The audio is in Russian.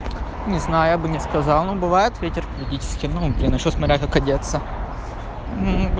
не знаю я бы не сказал но бывает ветер периодически ну блин ещё смотря как одеться